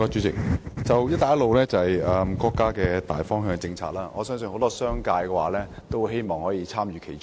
"一帶一路"是國家的大方向政策，我相信很多商界人士也很希望參與其中。